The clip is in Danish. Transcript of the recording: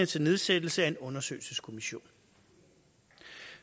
til nedsættelse af en undersøgelseskommission